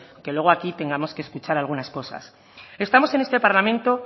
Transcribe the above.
aunque luego aquí tengamos que escuchar algunas cosas estamos en este parlamento